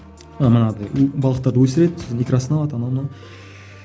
манағыдай бұл балықтарды өсіреді сосын икрасын алады анау мынау